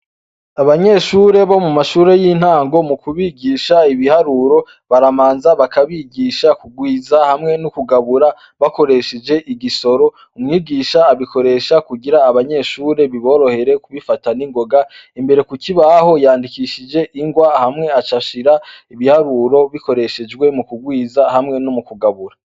Abanyeshure bo mu mashure y'intango mukubigisha ibiharuro, barabanza bakabigisha kurwiza hamwe no kugabura, bakoresheje igisoro, mwigisha abikoresha kugira abanyeshure biborohere kubifata n'ingoga, imbere ku kibaho yandikishije, hamwa aca ahashira ibiharuro bikoreshejwe mu kurwiza hamwe no mu kugabura.